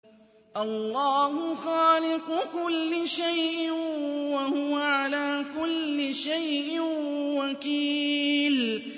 اللَّهُ خَالِقُ كُلِّ شَيْءٍ ۖ وَهُوَ عَلَىٰ كُلِّ شَيْءٍ وَكِيلٌ